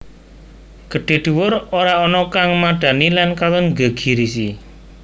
Gedhé dhuwur ora ana kang madhani lan katon nggegirisi